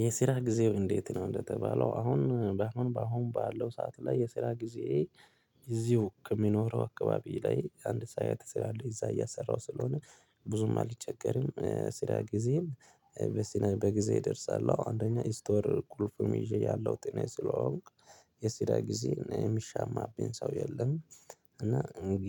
የስራ ጊዜው እንዴት? ነው እንደተባለው አሁን በአሁን በአሁን ባለው ሰዓት ላይ የስራ ጊዜ። እዚሁ ከሚኖረው አካባቢ ላይ አንድ ሰዓት ይሰራሉ እዛ እያሰራሁ ስለሆነ ብዙም አልቸገርም። ስራ ጊዜም በሲና በጊዜ እደርሳለሁ አንደኛ ስቶር ቁልፉም ይዤ ያለሁት እኔ ስለሆንኩ የስራ ጊዜ ሚሻማብኝ ሰው የለም። እና